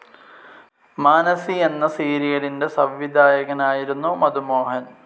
മാനസി എന്ന സീരിയലിന്റെ സംവിധായകനായിരുന്നു മധു മോഹൻ.